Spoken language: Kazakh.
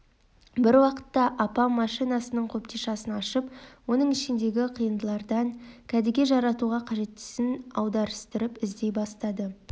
бір уақыт апам машинасының қобдишасын ашып оның ішіндегі қиындылардан кәдеге жаратуға қажеттісін аударыстырып іздей бастайды